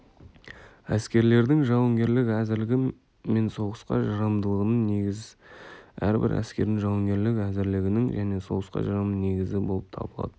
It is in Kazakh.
әскерлердің жауынгерлік әзірлігі мен соғысқа жарамдылығының негізі әрбір әскердің жауынгерлік әзірлігінің және соғысқа жарамдылығының негізі болып табылады